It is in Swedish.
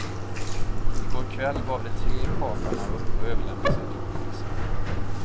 I går kväll gav de tre kaparna upp och överlämnade sig till polisen.